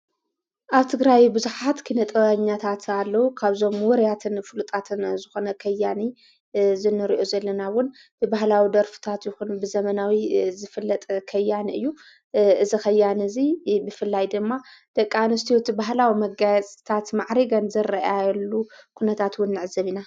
ኣብቲ ግራዊ ብዙኃት ክነጠ ኛታት ኣለዉ ካብዞም ወርያትን ፍሉጣትን ዝኾነ ኸያኒ ዝነርኦ ዘለናውን ብበህላዊ ደርፍታት ይኹን ብዘመናዊ ዝፍለጠ ኸያኒ እዩ ዝኸያኒ እዙይ ብፍላይ ድማ ደቃ ንስትዎት ብህላዊ መጋያ ጽታት መዕሪገን ዘረአያየሉ ኲነታትውን ኣዕዘብ ኢና።